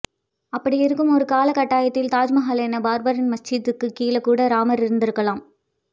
அப்படி இருக்கும் ஒரு காலகட்டாயத்தில் தாஜ் மகல் என்ன பாப்ரி மஸ்ஜித்துக்கு கீழே கூட ராமர் இருந்திருக்கலாம்